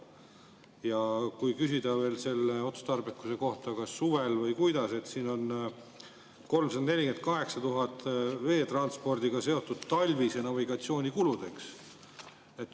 Ja kui küsida veel selle otstarbekuse kohta, kas kulutada suvel või talvel, siis siin on 348 000 eurot veetranspordiga seotud talvise navigatsiooni kuludeks.